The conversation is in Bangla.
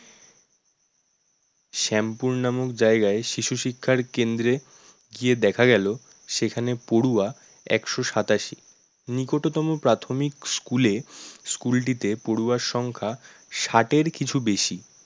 শ্যামপুর নামক জায়গায় শিশু শিক্ষার কেন্দ্রে গিয়ে দেখা গেল সেখানে পড়ুয়া একশো সাতাশি, নিকটতম প্রাথমিক school এ school টিতে পড়ুয়ার সংখ্যা ষাঠের কিছু বেশি